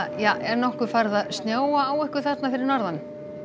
er nokkuð farið að snjóa á ykkur þarna fyrir norðan